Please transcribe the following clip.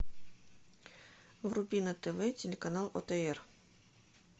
вруби на тв телеканал отр